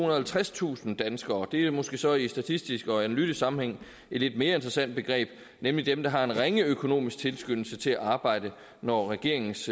og halvtredstusind danskere og det er måske så i en statistisk og analytisk sammenhæng et lidt mere interessant begreb nemlig dem der har en ringe økonomisk tilskyndelse til at arbejde når regeringens